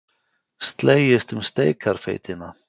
Slegist um steikarfeitina